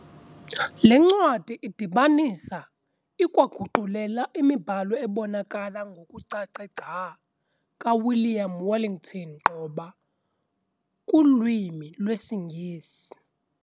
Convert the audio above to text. Le ncwadi idibanisa, ikwaguqulela imibhalo ebonakala ngokucace gca kaWilliam Wellington Gqoba kulwimi lwesiNgesi.